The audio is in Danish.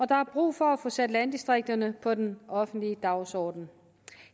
der er brug for at få sat landdistrikterne på den offentlige dagsorden